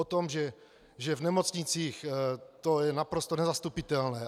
O tom, že v nemocnicích to je naprosto nezastupitelné.